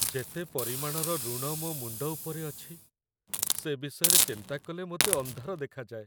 ଯେତେ ପରିମାଣର ଋଣ ମୋ ମୁଣ୍ଡ ଉପରେ ଅଛି, ସେ ବିଷୟରେ ଚିନ୍ତା କଲେ ମୋତେ ଅନ୍ଧାର ଦେଖାଯାଏ।